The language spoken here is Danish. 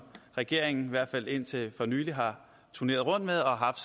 regeringen i hvert fald indtil for nylig har turneret med og haft